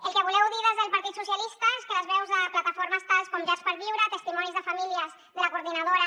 el que voleu dir des del partit socialista és que les veus de plataformes tals com llars per viure testimonis de famílies de la coordinadora